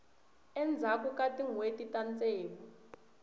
endzhaku ka tinhweti ta ntsevu